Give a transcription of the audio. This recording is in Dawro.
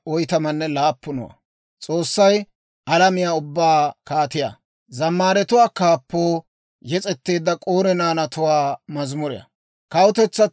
Kawutetsatuu ubbay hintte kushiyaa bak'k'ite; k'aalaa d'ok'k'u ootsiide, S'oossaw galataa yes's'ite.